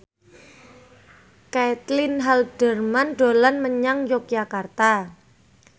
Caitlin Halderman dolan menyang Yogyakarta